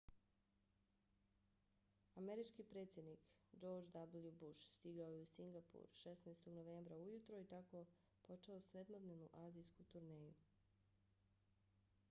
američki predsjednik george w. bush stigao je u singapur 16. novembra ujutro i tako počeo sedmodnevnu azijsku turneju